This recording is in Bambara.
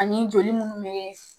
Ani joli munnu bɛ